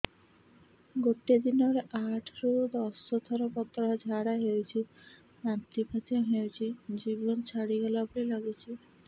ଗୋଟେ ଦିନରେ ଆଠ ରୁ ଦଶ ଥର ପତଳା ଝାଡା ହେଉଛି ବାନ୍ତି ମଧ୍ୟ ହେଉଛି ଜୀବନ ଛାଡିଗଲା ଭଳି ଲଗୁଛି